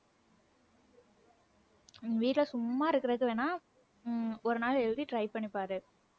உம் எங்க வீட்டுல சும்மா இருக்கறதுக்கு வேணாம் உம் ஒரு நாள் எழுதி try பண்ணிப் பாரு.